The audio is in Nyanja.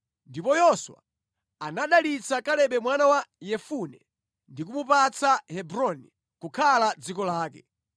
Ndipo Yoswa anadalitsa Kalebe mwana wa Yefune ndi kumupatsa Hebroni kukhala dziko lake.